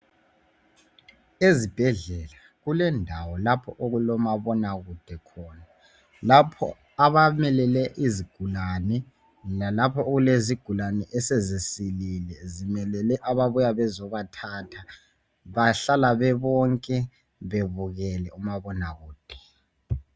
Ezibhedlela kulendawo lapho okulomabona kude khona lapho abamemele izigulane lalapho okulezigulani esezimelele ababuya bezobathatha bahlala bebonke bebukele umabona kude